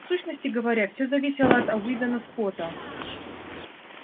в сущности говоря всё зависело от уидона скотта